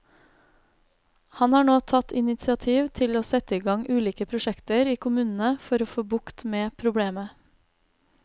Han har nå tatt initiativ til å sette i gang ulike prosjekter i kommunene for å få bukt med problemet.